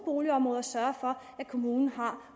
boligområder sørger for at kommunen har